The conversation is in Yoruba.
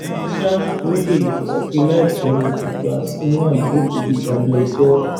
àmọ ṣá ológóde ti sọ pé láìpẹ ni àfúráṣí náà yóò fojú balẹẹjọ